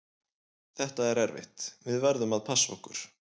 Þetta er erfitt, við verðum að passa okkur.